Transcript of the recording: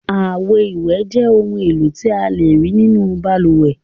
Àwo-ìwẹ̀ jẹ́ ohun-èlò tí a lè rí nínú balùwẹ̀.